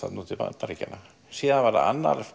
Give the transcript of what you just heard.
til Bandaríkjanna svo var annar